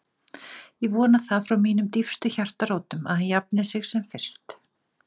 Ég vona það frá mínum dýpstu hjartarótum að hann jafni sig sem fyrst